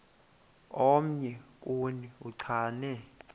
omnye kuni uchane